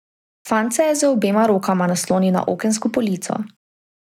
Fant se je z obema rokama naslonil na okensko polico.